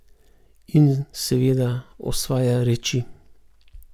In, seveda, osvaja reči.